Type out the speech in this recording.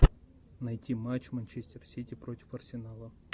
найти матч манчестер сити против арсенала